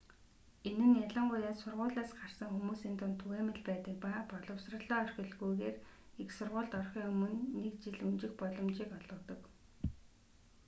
энэ нь ялангуяа сургуулиас гарсан хүмүүсийн дунд түгээмэл байдаг ба боловсролоо орхилгүйгээр их сургуульд орохын өмнө нэг жил өнжих боломжийг олгодог